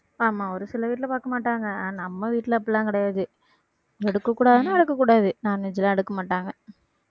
ஆமா ஒரு சில வீட்டுல பாக்க மாட்டாங்க. ஆனா, நம்ம வீட்டுல அப்படி எல்லாம் கிடையாது எடுக்கக்கூடாதுன்னா எடுக்ககூடாது non veg எல்லாம் எடுக்கமாட்டாங்க